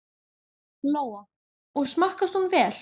Lóa: Og smakkast hún vel?